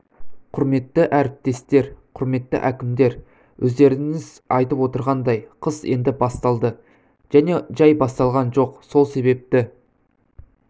құрметті әріптестер құрметті әкімдер өздеріңіз айтып отырғандай қыс енді басталды және жай басталған жоқ сол себепті